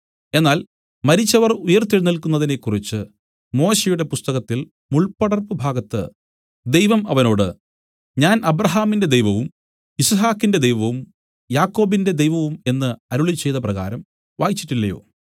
എന്നാൽ മരിച്ചവർ ഉയിർത്തെഴുന്നേല്ക്കുന്നതിനെക്കുറിച്ച് മോശെയുടെ പുസ്തകത്തിൽ മുൾപ്പടർപ്പുഭാഗത്ത് ദൈവം അവനോട് ഞാൻ അബ്രാഹാമിന്റെ ദൈവവും യിസ്ഹാക്കിന്റെ ദൈവവും യാക്കോബിന്റെ ദൈവവും എന്നു അരുളിച്ചെയ്ത പ്രകാരം വായിച്ചിട്ടില്ലയോ